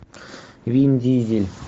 вин дизель